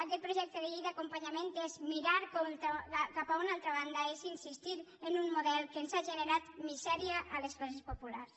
aquest projecte de llei d’acompanyament és mirar cap a una altra banda és insistir en un model que ens ha generat misèria a les classes populars